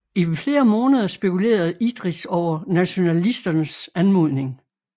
I flere måneder spekulerede Idris over nationalisternes anmodning